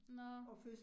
Nåh